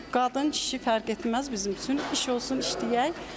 Qadın, kişi fərq etməz bizim üçün, iş olsun işləyək.